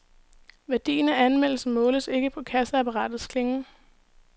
Værdien af anmeldelser måles ikke på kasseapparatets klingen.